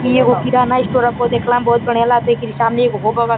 इ एगो किराना स्टोर ह। देखला मे बहोत बढ़िया लागता। एकरा सामने एगो हो बगल --